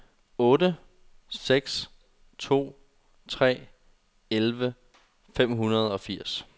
otte seks to tre elleve fem hundrede og firs